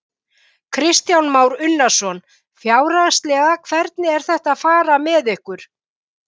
Kristján Már Unnarsson: Fjárhagslega, hvernig er þetta að fara með ykkur?